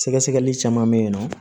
Sɛgɛsɛgɛli caman bɛ yen nɔ